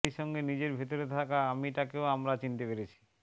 সেই সঙ্গে নিজের ভেতরে থাকা আমিটাকেও আমরা চিনতে পেরেছি